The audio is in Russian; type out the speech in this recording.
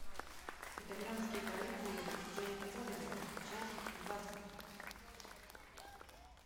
итальянские каникулы с джейми оливером часть двадцать